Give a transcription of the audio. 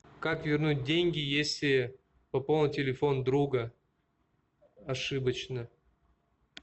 как вернуть деньги если пополнил телефон друга ошибочно